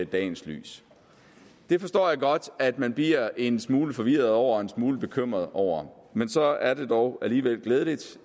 dagens lys det forstår jeg godt at man bliver en smule forvirret over og en smule bekymret over men så er det dog alligevel glædeligt